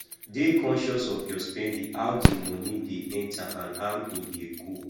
dey conscious of your spending how di money de enter and how im de go